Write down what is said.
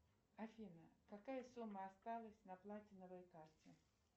афина какая сумма осталась на платиновой карте